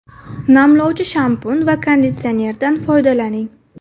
Namlovchi shampun va konditsionerdan foydalaning.